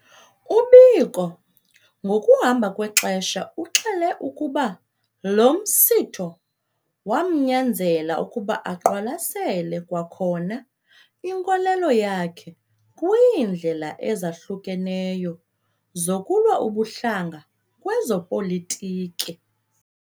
U-Biko ngokuhamba kwexesha uxele ukuba lo msitho wamnyanzela ukuba aqwalasele kwakhona inkolelo yakhe kwiindlela ezahlukeneyo zokulwa ubuhlanga kwezopolitiki.